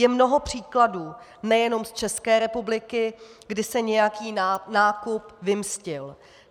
Je mnoho příkladů nejenom z České republiky, kdy se nějaký nákup vymstil.